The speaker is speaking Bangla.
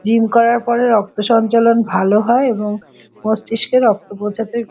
জিম করার পরে রক্ত সঞ্চালন ভালো হয় এবং মস্তিষ্কের রক্ত পৌঁছাতে।